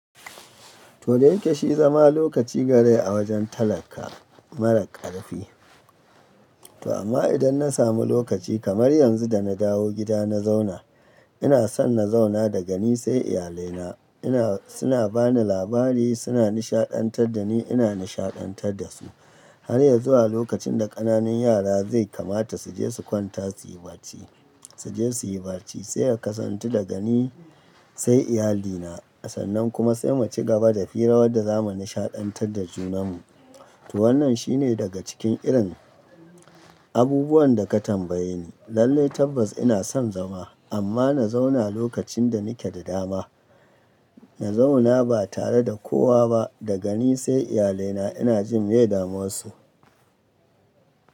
To da yake shi zama lokaci gare a wajen talaka mara ƙarfi. To amma idan na samu lokaci kamar yanzu da na dawo gida na zauna, ina son na zauna da gani sai iyalina. Ina, suna bani labari, suna nishaɗantar da ni, ina nishaɗantar da su. Har ya zuwa lokacin da ƙananan yara zai kamata su je su kwanta su yi barci, su je su yi barci. Sai ya kasantu da gani sai iyalina. A sannan kuma sai mu ci gaba da fira wadda za mu nishaɗantar da junanmu. To wannan shine daga cikin irin abubuwan da ka tambaye ni. Lallai tabbas ina son zama, amma na zauna lokacin da nake da dama. Na zauna ba tare da kowa ba, da gani sai iyalaina. Ina jin miye damuwan su.